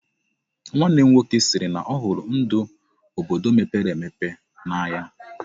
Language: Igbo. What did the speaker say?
Nwanne m nwoke sịrị na ọhụrụ ndụ obodo mepere emepe n'anya.